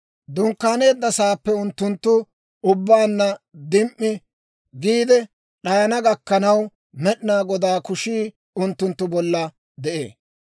Dunkkaaneedda saappe unttunttu ubbaanna dim"i giide d'ayana gakkanaw, Med'inaa Godaa kushii unttunttu bolla de'ee.